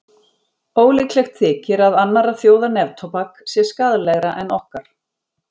Ólíklegt þykir að annarra þjóða neftóbak sé skaðlegra en okkar.